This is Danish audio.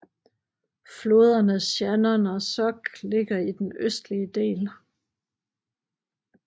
Floderne Shannon og Suck ligger i den østlige del